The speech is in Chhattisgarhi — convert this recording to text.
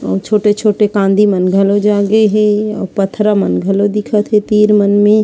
अउ छोटे-छोटे कैंडी मन घलो जागे हे अउ पत्थरा मन घलो दिखत हे तीर मन में--